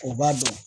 U b'a dɔn